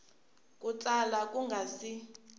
ku tsala ku nga si